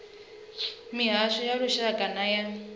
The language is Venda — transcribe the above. mihasho ya lushaka nay a